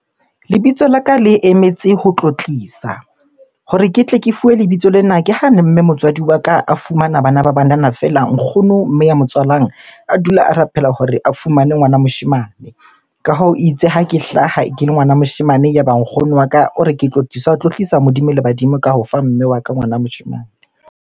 Lebitso la ka le emetse ho tlotlisa. Hore ke tle ke fuwe lebitso lena, ke hane mme motswadi wa ka a fumana bana ba banana fela. Nkgono mme ya mo tswalang a dula a rapela hore a fumane ngwana moshemane. Ka hoo, itse ha ke hlaha ke le ngwana moshemane, ya ba nkgono wa ka o re ke Tlotlisa a tlotlisa Modimo le badimo ka ho fa mme wa ka ngwana moshemane.